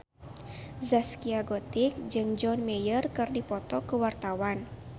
Zaskia Gotik jeung John Mayer keur dipoto ku wartawan